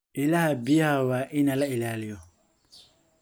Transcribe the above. Ilaha biyaha waa in la ilaaliyo.